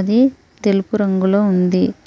అది తెలుపు రంగులో ఉంది.